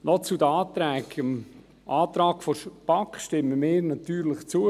Noch zu den Anträgen: Dem Antrag der BaK stimmen wir natürlich zu.